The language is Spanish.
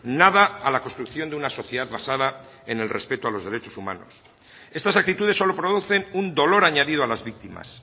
nada a la construcción de una sociedad basada en el respeto a los derechos humanos estas actitudes solo producen un dolor añadido a las víctimas